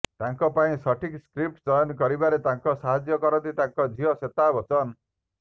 ତାଙ୍କ ପାଇଁ ସଠିକ୍ ସ୍କ୍ରିପ୍ଟ୍ ଚୟନ କରିବାରେ ତାଙ୍କୁ ସାହାଯ୍ୟ କରନ୍ତି ତାଙ୍କ ଝିଅ ଶ୍ୱେତା ବଚ୍ଚନ